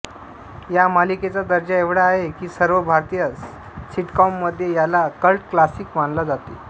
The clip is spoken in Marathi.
या मालिकेचा दर्जा एवढा आहे की सर्व भारतीय सिटकॉममध्ये याला कल्ट क्लासिक मानला जाते